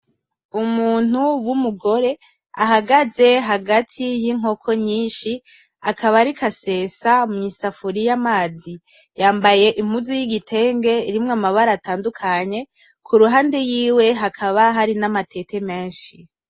Umuntu w'umugore ahagaze hagati y'inkoko nyinshi akaba ariko asesa mwisafuriya amazi. Yambaye impuzu yigitenge irimwo amabara atadukanye kuruhande yiwe hakaba hari N’amatete menshi.